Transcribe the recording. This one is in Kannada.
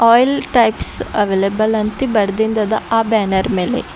ಆಯಿಲ್ ಟೈಪ್ಸ್ ಅವೈಲೆಬಲ್ ಅಂತ ಬರ್ದಿಂದದ ಆ ಬ್ಯಾನರ್ ಮೇಲೆ.